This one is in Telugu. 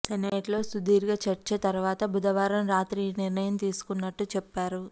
సెనేట్లో సుదీర్ఘ చర్చ తరువాత బుధవారం రాత్రి ఈ నిర్ణయం తీసుకున్నట్టు చెప్పారు